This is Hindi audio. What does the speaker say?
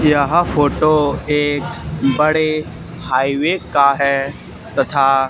यहां फोटो एक बड़े हाईवे का है तथा।